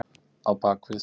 Á bak við